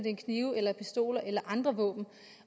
det er knive eller pistoler eller andre våben